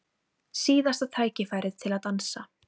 Síðasta tækifærið til að dansa